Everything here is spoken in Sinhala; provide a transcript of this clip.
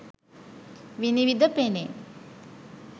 විනිවිඳ පෙනේ.